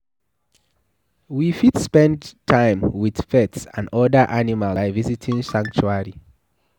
We fit spend time with pets and oda animals by visiting sanctuary